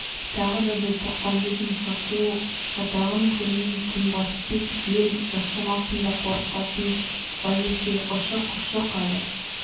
тағы да бір тоқпамбет мұсақұл шатағын көрмей тынбас тек ел жасымасын да қорықпасын базеке ұшық-ұшық әлі